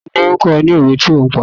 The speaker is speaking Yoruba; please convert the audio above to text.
Ta ló ó kó ni òwe tí ó pa?